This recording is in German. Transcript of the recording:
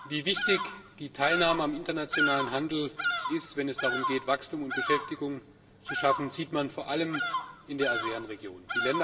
Wie wichtig die Teilnahme am internationalen Handel ist, wenn es darum geht, Wachstum und Beschäftigung zu schaffen, sieht man vor allem in der ASEAN Region.